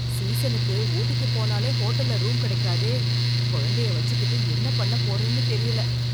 சீசனுக்கு ஊட்டிக்கு போனாலே ஹோட்டல்ல ரூம் கிடைக்காதே, குழந்தையை வச்சிக்கிட்டு என்ன பண்ண போறேன்னு தெரியல.